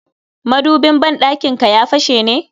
Madubin ban ɗakinka ya fashe ne?